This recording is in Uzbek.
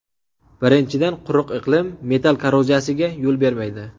Birinchidan, quruq iqlim metall korroziyasiga yo‘l bermaydi.